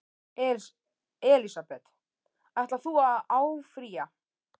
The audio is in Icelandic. Elísabet: Ætlar þú að áfrýja?